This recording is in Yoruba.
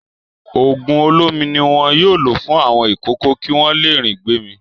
Òògùn olómi ni wọn yóò lò fún àwọn ìkókó kí wọ́n le ri gbémì.